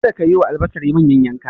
Kada ki yi wa albasar manyan yanka!